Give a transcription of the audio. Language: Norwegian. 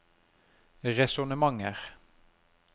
resonnementer